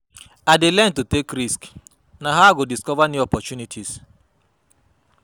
I dey learn to take risks; na how I go discover new possibilities.